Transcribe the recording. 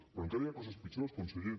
però encara hi ha coses pitjors conseller